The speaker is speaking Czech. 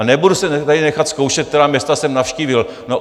A nebudu se tady nechat zkoušet, která města jsem navštívil.